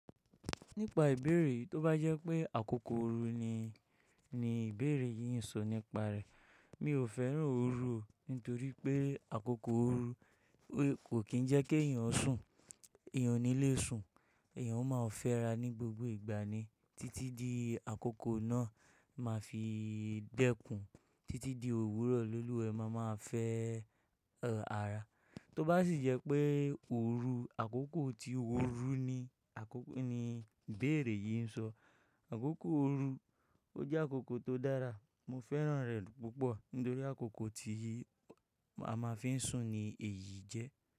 Nípa ìbéèrè yii, tó bá jẹ́ pé àkókò ooru ni, ni ìbéèrè yìí ń sọ nípa rẹ̀. Mi ò fẹ́ràn ooru nítorí pé àkókò ooru kò kín ń jẹ́ kí èèyàn sùn, èèyàn o ní lè sùn, èèyàn máa ò fẹ́ra ní gbogbo ìgbà ni títí di àkókò náà máa fi dẹ́kun, títí di òwúrọ̀ lolúwa e máa ma fẹ́ ara. Tó bá sì jẹ́ pé ooru, àkókò tí ó rú ni àkókò ni ìbéèrè yìí ń sọ, àkókò ooru, ó jẹ́ àkókò tó dára. Mo fẹ́ràn rẹ̀ púpọ̀ nítorí àkókò tí a máa fi ń sùn ni èyí jẹ́